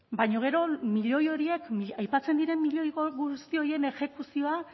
baina gero milioi horiek aipatzen diren miloi guzti horien exekuzioa